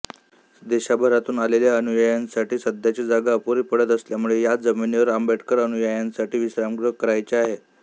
देशाभरातून आलेल्या अनुयायांसाठी सध्याची जागा अपुरी पडत असल्यामुळे या जमिनीवर आंबेडकर अनुयायांसाठी विश्रामगृह करायचे आहे